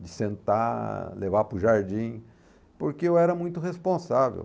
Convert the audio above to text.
De sentar, levar para o jardim, porque eu era muito responsável.